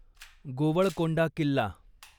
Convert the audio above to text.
Golconda Killa